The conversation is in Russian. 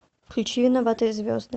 включи виноватые звезды